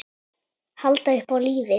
Halda upp á lífið.